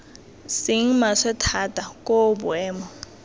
seng maswe thata koo boemo